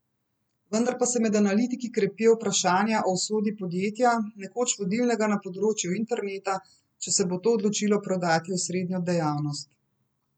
Vendar pa se med analitiki krepijo vprašanja o usodi podjetja, nekoč vodilnega na področju interneta, če se bo to odločilo prodati osrednjo dejavnost.